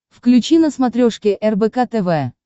включи на смотрешке рбк тв